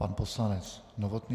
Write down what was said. Pan poslanec Novotný.